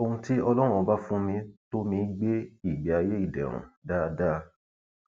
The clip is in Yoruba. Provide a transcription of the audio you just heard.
ohun tí ọlọrun ọba fún mi tó mì í gbé ìgbé ayé ìdẹrùn dáadáa